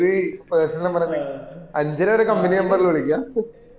ഇത് personal number തന്നെ അഞ്ചരവരെ company number ല് വിളിക്ക